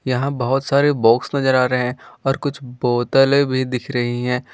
यहां बहुत सारे बॉक्स नजर आ रहे हैं और कुछ बोतलें भी दिख रही हैं।